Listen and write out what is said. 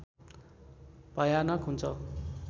भयानक हुन्छ